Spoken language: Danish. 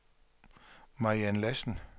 Mariann Lassen